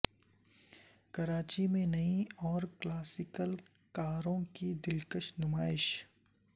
کراچی میں نئی اور کلاسیکل کاروں کی دلکش نمائش